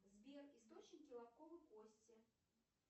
сбер источники лобковой кости